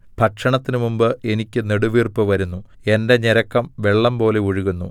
ഭക്ഷണത്തിന് മുമ്പ് എനിക്ക് നെടുവീർപ്പ് വരുന്നു എന്റെ ഞരക്കം വെള്ളംപോലെ ഒഴുകുന്നു